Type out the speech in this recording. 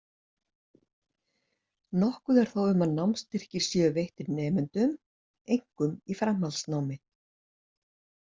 Nokkuð er þó um að námsstyrkir séu veittir nemendum, einkum í framhaldsnámi.